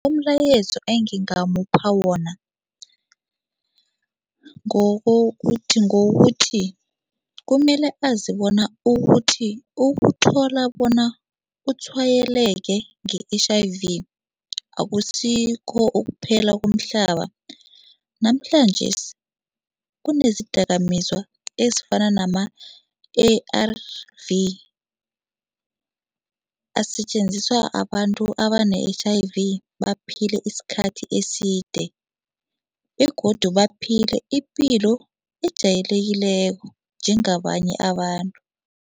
Umlayezo engingamupha wona ngewokuthi kumele azi bona ukuthi ukuthola bona utshwayeleke nge-H_I_V akusikho ukuphela komhlaba. Namhlanjesi kunezidakamizwa ezifana nama-A_R_V asetjenziswa abantu abane-H_I_V baphile isikhathi eside begodu baphile ipilo ejayelekileko njengabanye abantu.